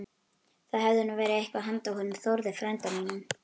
Það hefði nú verið eitthvað handa honum Þórði frænda mínum!